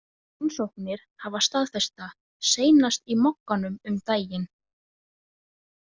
Rannsóknir hafa staðfest það, seinast í Mogganum um daginn.